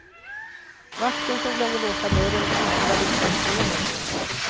Vakten som glömde låsa dörren tystade först ner händelsen.